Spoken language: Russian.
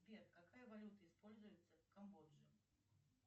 сбер какая валюта используется в камбодже